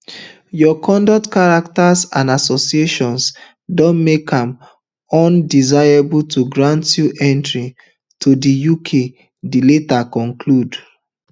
your conduct character and associations don make am undesirable to grant you entry to di uk di letter conclude